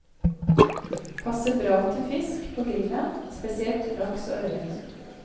Passer bra til fisk på grillen, spesielt laks og ørret.